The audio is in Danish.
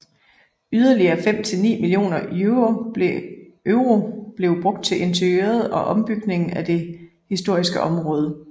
Yderligere fem til ni millioner euro blev brugt til interiøret og ombygningen af det historiske område